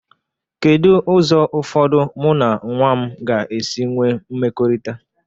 Kedu ụzọ ụfọdụ mụ na nwa m ga-esi nwee mmekọrịta?